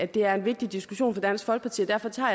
det er en vigtig diskussion for dansk folkeparti og derfor tager